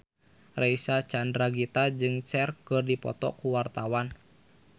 Reysa Chandragitta jeung Cher keur dipoto ku wartawan